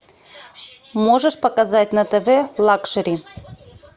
можешь показать на тв лакшери